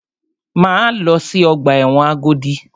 Máa lọ sí ọgbà ẹ̀wọ̀n Agodi.